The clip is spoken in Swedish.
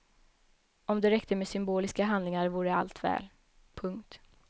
Om det räckte med symboliska handlingar vore allt väl. punkt